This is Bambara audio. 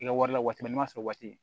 I ka wari la waati min n'a sɔrɔ waati